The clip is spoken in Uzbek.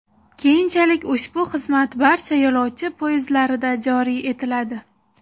Keyinchalik ushbu xizmat barcha yo‘lovchi poyezdlarida joriy etiladi.